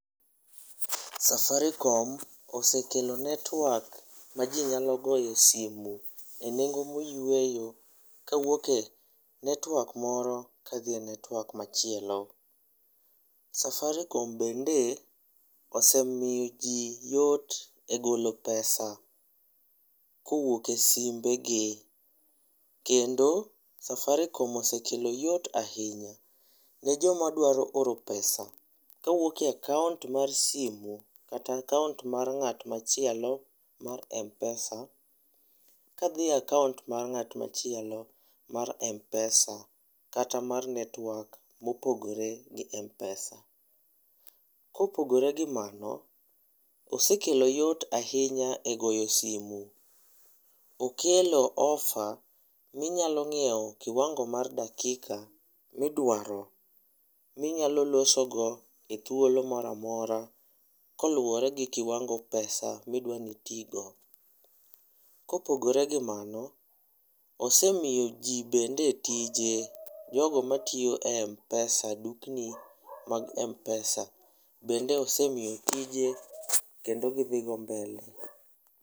Safaricom osekelo network ma ji nyalo goye simu e nengo moyweyo kawuok e network moro kadhiye network machielo. Safaricom bende osemiyo jii yot e golo pesa kowuok e simbegi kendo Safaricom osekelo yot ahinya ne joma dwaro oro pesa kowuok e akaunt mar simu kata akaunt mar ng'at machielo mar Mpesa kadhiye akaunt mar ng'at machielo mar Mpesa kata mar network machielo mopogore gi mar Mpesa. Kopogore gi mano, osekelo yot ahinya e goyo simu. Okelo offer minyalo nyiew kiwango mar dakika midwaro minyalo loso go e thuolo moro amora koluore gi kiwango pesa midwani itii go. Kopogore gi mano, osemiyo jogo bende tije, jogo matiyo e Mpesa, dukni mag Mpesa bend eosemiyo tije kendo gidhi godo mbele